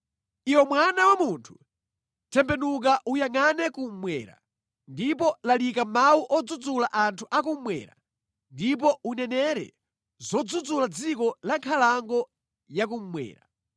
“Iwe mwana wa munthu, tembenuka uyangʼane kummwera; ndipo lalika mawu odzudzula anthu akummwera ndipo unenere zodzudzula dziko la nkhalango ya kummwera.